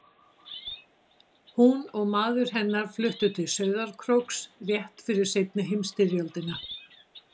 Hún og maður hennar fluttu til Sauðárkróks rétt fyrir seinni heimsstyrjöldina.